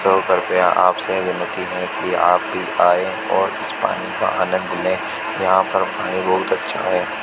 कृपया आपसे विनती है कि आप आए और यहां पर बहुत अच्छा है।